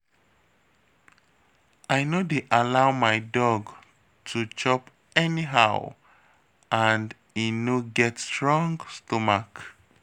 I no dey allow my dog to chop anyhow and e no get strong stomach